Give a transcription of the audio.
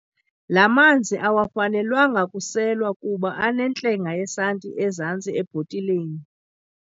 La manzi awafanelwanga kuselwa kuba anentlenga yesanti ezantsi ebhotileni.